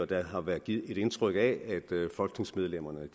der har været givet et indtryk af at folketingsmedlemmerne